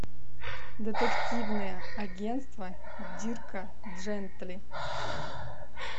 детективное агентство дирка джентли